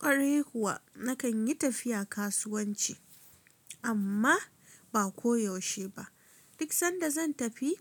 Ƙwarai kuwa nakan yi tafiya kasuwanci amma ba ko yaushe ba. Duk sanda zan tafi